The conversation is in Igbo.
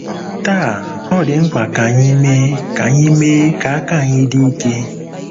Taa, ọ dị mkpa ka anyị mee ka anyị mee ka aka anyị dị ike.